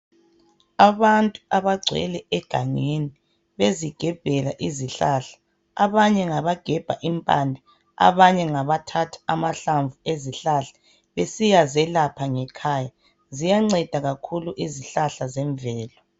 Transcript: Abantu abagwele egangeni bezigebhela izihlahla abanye ngabagebha impande abanye ngabathatha amahlamvu ezihlahla besiya zelapha ngekhaya . Ziyanceda kakhulu izihlahla zemvelo.